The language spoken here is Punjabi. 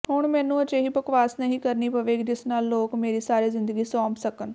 ਹੁਣ ਮੈਨੂੰ ਅਜਿਹੀ ਬਕਵਾਸ ਨਹੀਂ ਕਰਨੀ ਪਵੇਗੀ ਜਿਸ ਨਾਲ ਲੋਕ ਮੇਰੀ ਸਾਰੀ ਜ਼ਿੰਦਗੀ ਸੌਂਪ ਸਕਣ